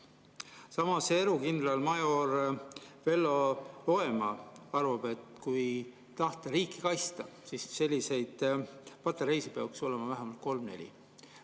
Samas erukindralmajor Vello Loemaa arvab, et kui tahta riiki kaitsta, siis selliseid patareisid peaks olema vähemalt kolm-neli.